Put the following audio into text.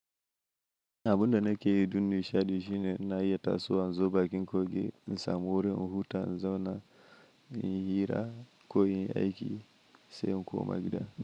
Abunda nake yi dun ni shaɗi shine na yi taso an zo baƙin kogi, ni samuri in huta an zauna in yi hira ko in aiki sai in koma gida.